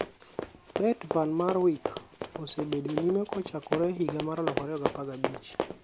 Bert van Marwijk, osebedo nyime kcohakore higa mar 2015.